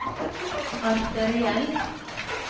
arteriell